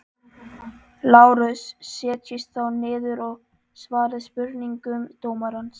LÁRUS: Setjist þá niður og svarið spurningum dómarans.